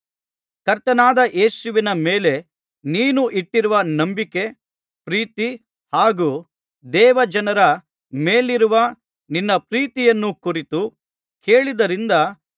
ಕರ್ತನಾದ ಯೇಸುವಿನ ಮೇಲೆ ನೀನು ಇಟ್ಟಿರುವ ನಂಬಿಕೆ ಪ್ರೀತಿ ಹಾಗೂ ದೇವಜನರ ಮೇಲಿರುವ ನಿನ್ನ ಪ್ರೀತಿಯನ್ನು ಕುರಿತು ಕೇಳಿದ್ದರಿಂದ